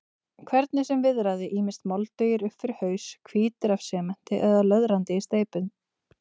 Hvernig sem viðraði, ýmist moldugir upp fyrir haus, hvítir af sementi eða löðrandi í steypu.